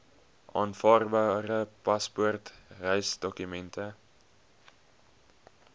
aanvaarbare paspoort reisdokument